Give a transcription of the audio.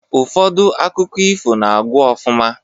Ụfọdụ akụkọ ifo na-agwụ ofụma